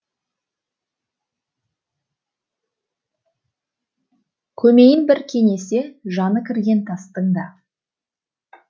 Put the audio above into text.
көмейін бір кенесе жаны кірген тастың да